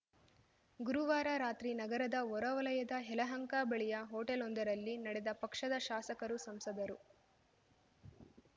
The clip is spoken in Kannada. ಗುರುವಾರ ರಾತ್ರಿ ನಗರದ ಹೊರವಲಯದ ಯಲಹಂಕ ಬಳಿಯ ಹೋಟೆಲ್‌ವೊಂದರಲ್ಲಿ ನಡೆದ ಪಕ್ಷದ ಶಾಸಕರು ಸಂಸದರು